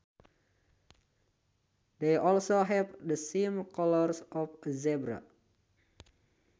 They also have the same colours of a zebra